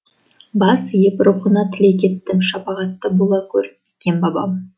бас иіп рухыңа тілек еттім шапағатты бола гөр кен бабам